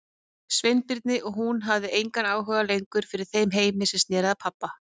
Sveinbirni og hún hafði engan áhuga lengur fyrir þeim heimi sem sneri að pabba.